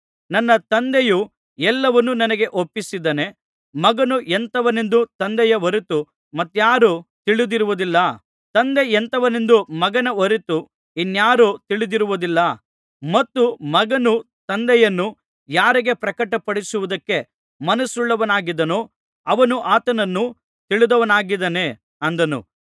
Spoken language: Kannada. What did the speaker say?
ನನ್ನ ತಂದೆಯು ಎಲ್ಲವನ್ನೂ ನನಗೆ ಒಪ್ಪಿಸಿದ್ದಾನೆ ಮಗನು ಎಂಥವನೆಂದು ತಂದೆಯ ಹೊರತು ಮತ್ತಾರೂ ತಿಳಿದಿರುವುದಿಲ್ಲ ತಂದೆ ಎಂಥವನೆಂದು ಮಗನ ಹೊರತು ಇನ್ನಾರು ತಿಳಿದಿರುವುದಿಲ್ಲ ಮತ್ತು ಮಗನು ತಂದೆಯನ್ನು ಯಾರಿಗೆ ಪ್ರಕಟಪಡಿಸುವುದಕ್ಕೆ ಮನಸ್ಸುಳ್ಳವನಾಗಿದ್ದಾನೋ ಅವನೂ ಆತನನ್ನು ತಿಳಿದವನಾಗಿದ್ದಾನೆ ಅಂದನು